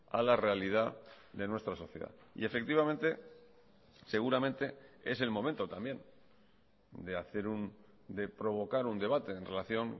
a la realidad de nuestra sociedad y efectivamente seguramente es el momento también de hacer de provocar un debate en relación